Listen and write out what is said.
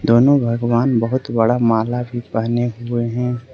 दोनों भगवान बहुत बड़ा माला भी पहने हुए हैं।